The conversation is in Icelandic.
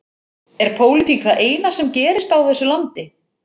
Er pólitík það eina sem gerist á þessu landi?